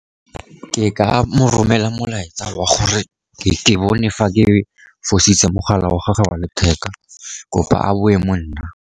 Ke ka mo romelela molaetsa wa gore ke bone fa ke fositse mogala wa gage wa letheka, kopa a boe mo nna.